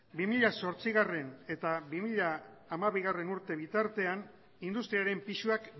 bi mila zortzigarrena eta bi mila hamabigarrena urte bitartean industriaren pisuak